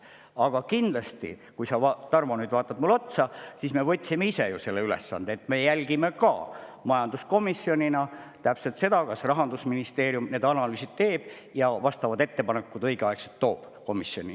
Aga kui sa, Tarmo, nüüd vaatad mulle otsa, siis me võtsime ju ise selle ülesande ja majanduskomisjoniga jälgime, kas Rahandusministeerium teeb need analüüsid ära ja toob õigeaegselt vastavad ettepanekud komisjoni.